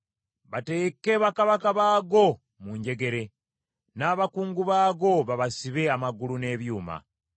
bateeke bakabaka baago mu njegere, n’abakungu baago babasibe amagulu n’ebyuma,